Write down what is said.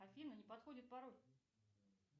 афина не подходит пароль